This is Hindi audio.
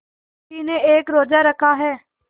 किसी ने एक रोज़ा रखा है